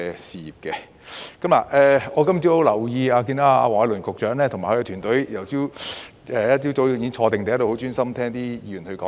我今天早上留意到，黃偉綸局長及其團隊早上已在座專注聆聽議員的發言。